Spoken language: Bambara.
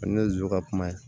ne ye zonzan kuma ye